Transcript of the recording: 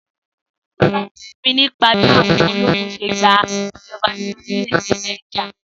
Sọlá sọ fún mi nípa bí àwọn ológun se gba ìjoba ni orílẹ̀-èdè Niger..